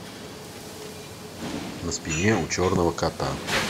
на спине у черного кота